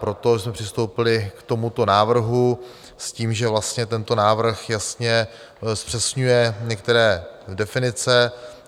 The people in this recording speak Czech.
Proto jsme přistoupili k tomuto návrhu s tím, že vlastně tento návrh jasně zpřesňuje některé definice.